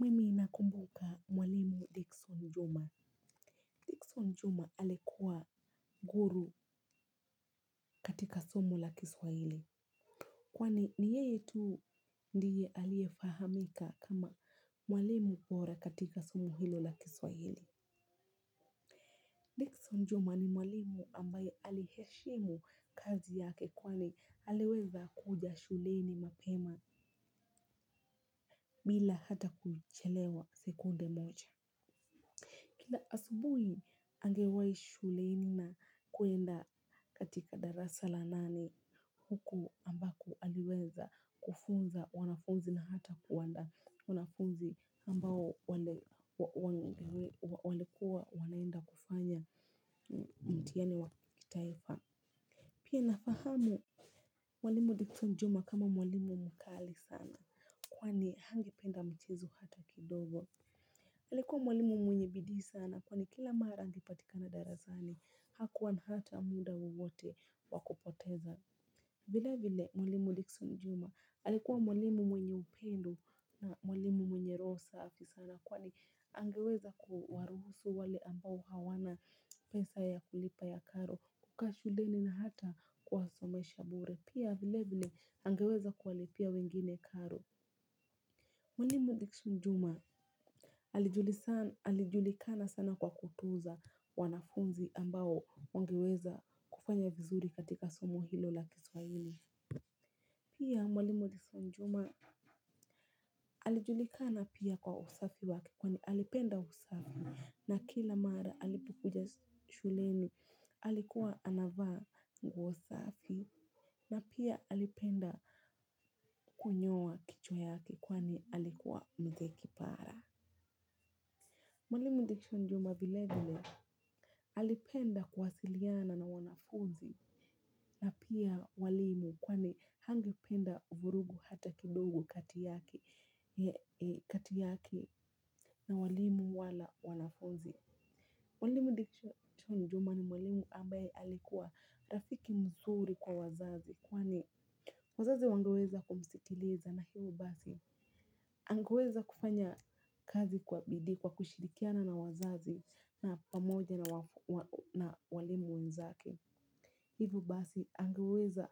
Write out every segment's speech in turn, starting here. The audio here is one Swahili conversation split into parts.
Mimi inakumbuka mwalimu Dickson Juma. Dickson Juma alikuwa guru katika somo la kiswahili. Kwani ni yeye tu ndiye aliefahamika kama mwalimu bora katika somo hilo la kiswahili. Dickson Juma ni mwalimu ambaye aliheshimu kazi yake kwani aleweza kuja shuleni mapema bila hata kuchelewa sekunde mocha. Kila asubui angewai shuleni na kuenda katika darasa la nane huku ambako aliweza kufunza wanafunzi na hata kuwandaa wanafunzi ambao walikuwa wanaenda kufanya mtihani wakitaifa. Pia nafahamu mwalimu Dickson Juma kama mwalimu mkali sana. Kwani hangependa mchezo hata kidogo. Alikuwa mwalimu mwenye bidii sana. Kwani kila mara angipatikana darasani. Hakuwa na hata muda wowote wakupoteza. Vile vile mwalimu Dickson Juma Alikuwa mwalimu mwenye upendo na mwalimu mwenye roho safi sana. Kwani angeweza kuwaruhusu wale ambao hawana pesa ya kulipa ya karo kukaa shuleni na hata kuwa somesha bure pia vile vile angeweza kuwalipia wengine karo. Mwalimu Dixon juma alijulikana sana kwa kutuza wanafunzi ambao wangeweza kufanya vizuri katika somo hilo la kiswahili. Pia mwalimu Dixon juma alijulikana pia kwa usafi wake kwani alipenda usafi na kila mara alipokuja shuleni alikuwa anavaa nguo usafi na pia alipenda kunyoa kicho yake kwani alikuwa mzee kipara. Mwalimu Diction Juma vile vile alipenda kuwasiliana na wanafunzi na pia walimu kwani hangependa vurugu hata kidogo kati yake na walimu wala wanafunzi. Walimu diksho njuma ni walimu ambaye alikuwa rafiki mzuri kwa wazazi. Kwani wazazi wangeweza kumstiliza na hivo basi. Angeweza kufanya kazi kwa bidii kwa kushirikiana na wazazi na pamoja na walimu wenzake. Hivo basi, angeweza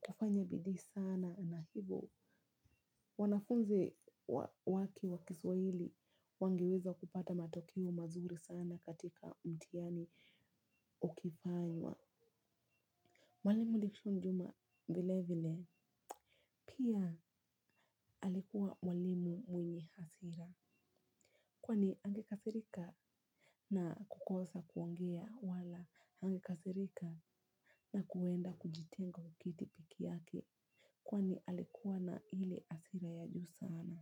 kufanya bidii sana na hivo. Wanafunzi wake wakiswa hili wangeweza kupata matokeo mazuri sana katika mtihani ukifanywa. Mwalimu diksho njuma vile vile pia alikuwa mwalimu mwenye hasira. Kwani angekasirika na kukosa kuongea wala angekasirika na kuenda kujitenga kwa kiti peke yake kwani alikuwa na hile hasira ya juu sana.